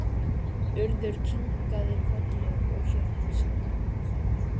Urður kinkaði kolli og Hjördís sagði